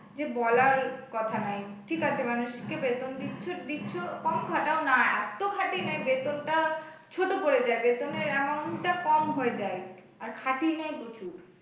যে বলার কথা নাই ঠিক আছে মানুষকে বেতন দিচ্ছ দিচ্ছ কম খাটাও না এত খাটিয়ে নেয় বেতনটা ছোট পড়ে যায়, বেতনের amount টা কম হয়ে যায় আর খাটিয়ে নেয় প্রচুর।